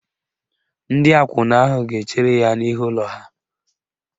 Ndị akwụna ahụ ga-echere ya n'ihu ụlọ ha.